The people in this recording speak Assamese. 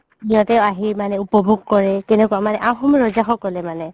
সিহতে আহি মানে উপভুগ কৰে কেনেকুৱা আহুম ৰজা সকলে মানে